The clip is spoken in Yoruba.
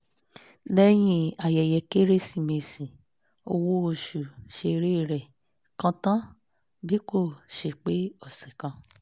lẹ́yìn ayẹyẹ kérésìmesì owó oṣù sere rẹ̀ kán tán bí kò ṣe pé ọsẹ̀ kan